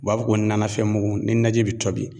U b'a fɔ ko nanafɛn mugu ,ni naji be tobi